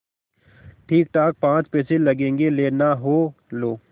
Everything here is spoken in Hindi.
ठीकठाक पाँच पैसे लगेंगे लेना हो लो